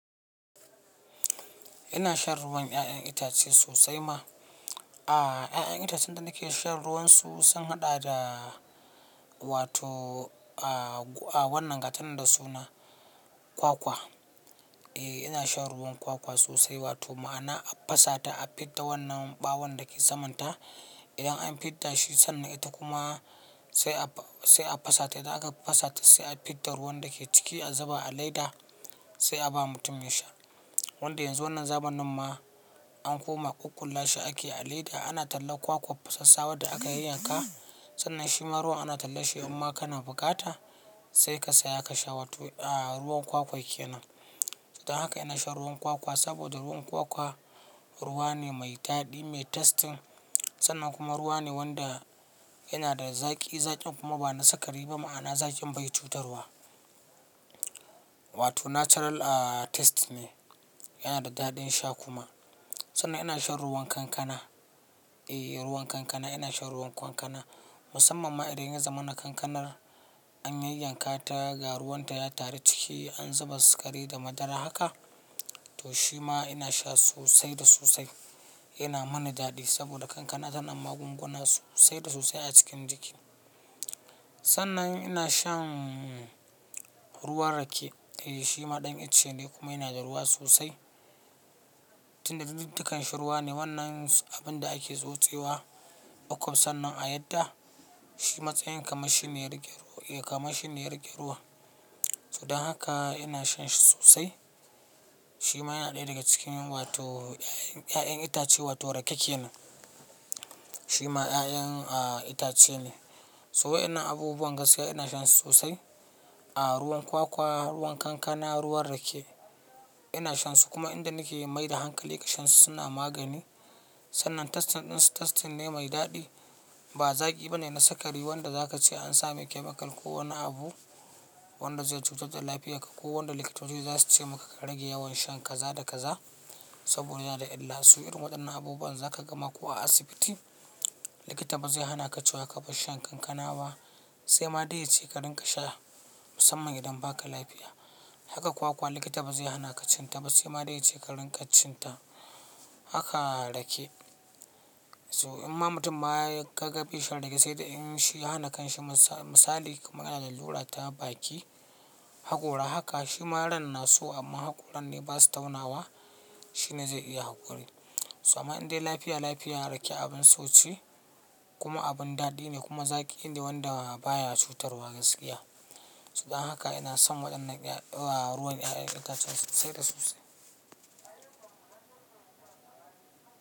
Ina shan ruwan 'ya'yan itace sosai ma. Ah, 'ya'yan itacen da nake shan ruwan su sun haɗa da wato, a wannan gatan da suna kwakwa. E, ina shan ruwan kwakwa sosai wato, ma'ana a fasata, a fidda wannan ɓawon da ke samanta. Idan an fidda shi sannan ita kuma sai a fasata. Da aka fasata sai a fidda ruwan da ke ciki, a ziba, a leda sai a ba mutum ya sha. Wanda yanzu wannan zamanin ma an koma ƙuƙƙulashi ake a leda. Ana talla kwakwan fasassawa da aka yanyanka sannan shiman ruwa ana tallanshi. Amma kana bukata sai ka saya ka sha wato, a ruwan kwakwan ke nan. Don haka ina shan ruwan kwakwa saboda ruwan kwakwa ruwa ne mai daɗi, mai tastin sannan kuma ruwa ne wanda yana da zaƙi. Zaƙin kuma ba na sakari ba ma'ana zaƙin bai cutar wa. Wato natural a taste ne, yana da daɗin sha kuma. Sannan ina shan ruwan kankana. E, ruwan kankana ina shan ruwan kankana. Musamman ma idan ya zamana kankanar an yanyanka ta ga ruwan ta ya taru ciki, an zuba sukari da madara haka to shi ma ina sha sosai da sosai. Yana mani daɗi saboda kankana tana magunguna sosai da sosai a cikin jiki. Sannan ina shan ruwan rake. E, shi ma ɗan icce ne kuma yana da ruwa sosai. Tunda duk dukansa ruwa ne wannan abinda ake tsotsewa bakon sannan a yadda shi matsayin kamar shi ne riƙe ruwa. To don haka ina shan shi sosai. Shi ma yana ɗaya daga cikin wato 'ya'yan itace wato rake kenan. Shi ma 'ya'yan a itace ne. So wa'innan abubuwan gaskiya ina shan su sosai. A ruwan kwakwa, ruwan kankana, ruwan rake ina shan su kuma inda nake mai da hankali ga shan su suna magani. Sannan tastin ɗin su tastin ne mai daɗi ba zaƙi ba ne na sakari. Wanda zaka ce an samai chemical ko wani abu wanda zai cutar da lafiyar ka ko wanda likitoci za su ce maka ka rage yawan shan kaza da kaza saboda yanada illa. Su irin waɗannan abubuwan zaka gama ko a asibiti likita ba zai hana ka cewa ka bar shan kankana ba sai ma dai yace ka dinga sha musamman idan baka lafiya. Haka kwakwa likita ba zai hana ka cin ta ba sai ma dai yace ka dinga cin ta. Haka rake. So in ma mutum ma ya kaga bai shan rake sai dai in shi yahana kanshi misali ko yana da lalura ta baki hakora haka shi ma ran na so amma hakoran ne basa taunawa shine zai iya hakuri. So amma indai lafiya lafiya rake abin so ce kuma abin daɗi ne kuma zaƙi ne wanda baya cutarwa gaskiya. To don haka ina son waɗannan ruwan 'ya'yan itace sosai da sosai.